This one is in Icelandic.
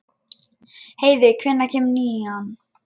Heiðveig, hvenær kemur nían?